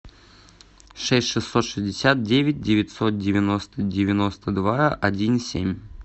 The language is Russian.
шесть шестьсот шестьдесят девять девятьсот девяносто девяносто два один семь